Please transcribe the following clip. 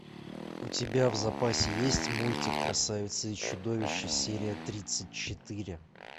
у тебя в запасе есть мультик красавица и чудовище серия тридцать четыре